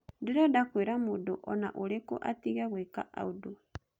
Ndirenda kwĩra mũndũ o na ũrĩkũ atige gwĩka ũndũ.'